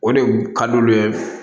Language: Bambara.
O de ka d'olu ye